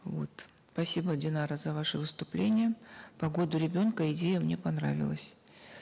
вот спасибо динара за ваше вступление по году ребенка идея мне понравилась